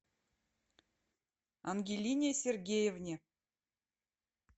ангелине сергеевне